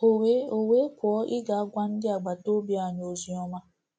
O we O we pụọ gaa ịgwa ndị agbata obi anyị ozi ọma.